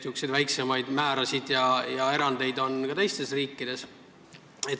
Sääraseid väiksemaid määrasid ja erandeid on ka teistes riikides.